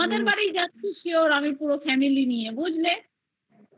তোমাদের বাড়ি যাচ্ছি sure পুরো family নিয়ে বুঝলে পুরো